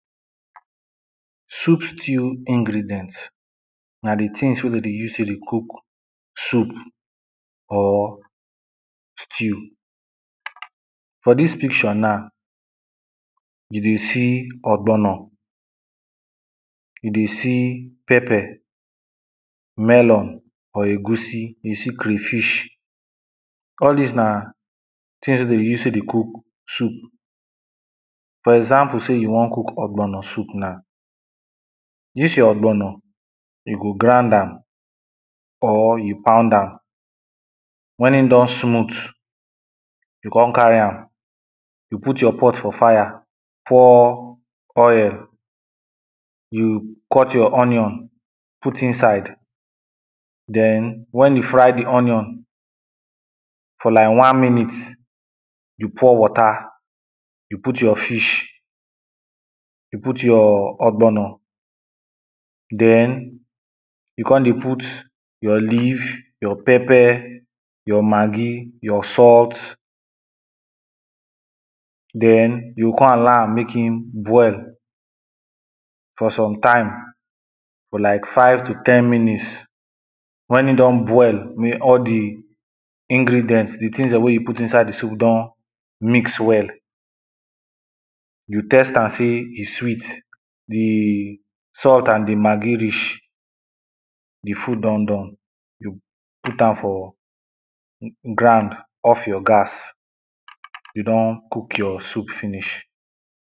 Soup stew ingredients na di things wey de dey use take dey cook soup or stew. For dis picture na you dey see ogbono, you dey see pepper, melon or egusi, you dey see crayfish, all dis na things wey de dey use take dey cook soup, for example say you wan cook ogbono soup na, dis your ogbono you go grind am or you pound am when e don smooth you come carry am, you put your pot for fire pour oil, you cut your onion put inside den when you fry di onion for like one minute you pour water, you put your fish, you put your ogbono den you come dey put your leaf, your pepper, your maggi, your salt den you go come allow am make im boil for sometime for like five to ten minutes. When e don boil may all di ingredient, di things dem wey you put for inside di soup don mix well, you taste am see e sweet, di salt and di maggi reach di food don done you put am for ground off your gas you don cook your soup finish.